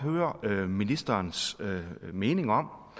vil høre ministerens mening om